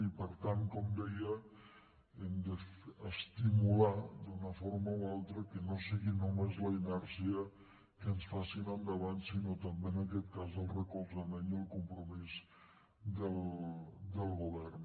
i per tant com deia hem d’estimular d’una forma o altra que no sigui només la inèrcia el que ens faci anar endavant sinó també en aquest cas el recolzament i el compromís del govern